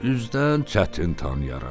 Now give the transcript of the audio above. Üzdən çətin tanıyarım.